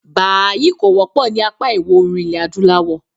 “Bàhàáhì” kò wọ́pọ̀ ní apá ìwọ̀òrùn ilẹ̀-adúláwọ̀.